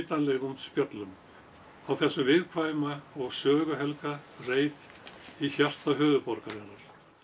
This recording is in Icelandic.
spjöllum á þessum viðkvæma og söguhelga reit í hjarta höfuðborgarinnar